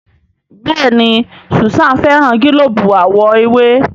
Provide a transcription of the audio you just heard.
Béèni Susan féràn gilobu àwo ewé.